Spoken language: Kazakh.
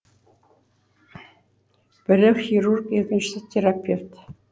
бірі хирург екіншісі терапевт